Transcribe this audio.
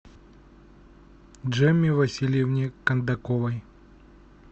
джемме васильевне кондаковой